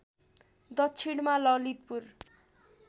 दक्षिणमा ललितपुर